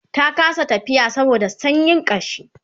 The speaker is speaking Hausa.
ta kasa tafiya saboda sanyin kashi